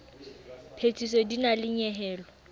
phethiso di na le nyehelo